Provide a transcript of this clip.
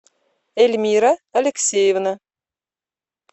эльмира алексеевна